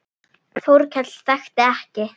Þórkell þekkti ekki.